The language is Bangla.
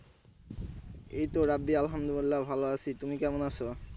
এইতো রাবদি আল্লাহমদুল্লিয়া ভালো আছি তুমি কেমন আসো?